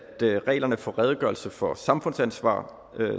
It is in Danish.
reglerne for redegørelser for samfundsansvar